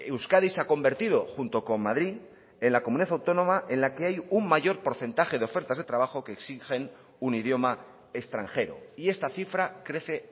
euskadi se ha convertido junto con madrid en la comunidad autónoma en la que hay un mayor porcentaje de ofertas de trabajo que exigen un idioma extranjero y esta cifra crece